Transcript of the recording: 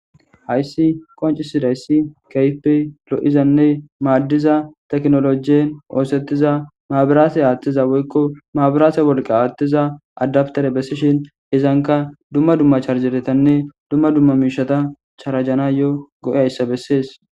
hayssi qoncisidayssi keype lo7izanne maaddiza teknolojien oosettiza maabiraase aaththiza woykko maabiraase wolqa aattiza adabtere bessishin hezanka dumma dumma charjeretanne dumma dumma miishata charajana yo go7e hayssa bessees